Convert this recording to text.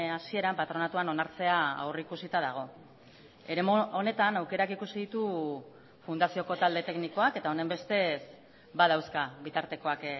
hasieran patronatuan onartzea aurrikusita dago eremu honetan aukerak ikusi ditu fundazioko talde teknikoak eta honenbestez badauzka bitartekoak